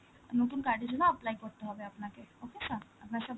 নতুন card এর জন্য apply করতে হবে আপনাকে, okay sir? আপনার সব